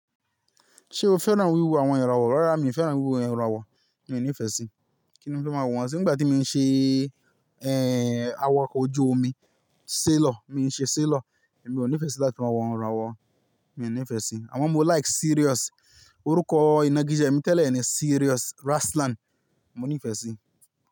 Ṣé o fẹ́ràn wíwo àwọn irawọ̀? Rárá mi ò fẹ́ràn wíwo irawọ̀, mi ò ní ìfẹ́ sí. Kí ni mo máa wọ̀n sí? Nígbà tí mo ń ṣe, ẹ́, awakọ̀ ojú omi, sailor, mo ń ṣe sailor, èmi ò ní ìfẹ́ sí láti máa wọ̀n ẹran wọ̀, mi ò ní ìfẹ́ sí i. Àwọn mo like serious. Orúkọ ìná gíjẹ mi tẹ́lẹ̀ ni serious Ruslan, mo ní ìfẹ́ sí i.